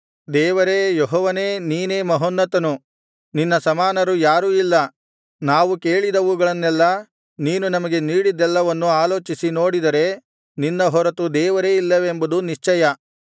ದೇವರೇ ಯೆಹೋವನೇ ನೀನೇ ಮಹೋನ್ನತನು ನಿನ್ನ ಸಮಾನರು ಯಾರೂ ಇಲ್ಲ ನಾವು ಕೇಳಿದವುಗಳನ್ನೆಲ್ಲಾ ನೀನು ನಮಗೆ ನೀಡಿದ್ದೆಲ್ಲವನ್ನು ಆಲೋಚಿಸಿ ನೋಡಿದರೆ ನಿನ್ನ ಹೊರತು ದೇವರೇ ಇಲ್ಲವೆಂಬುದು ನಿಶ್ಚಯ